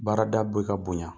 Baarada bɛ ka bonya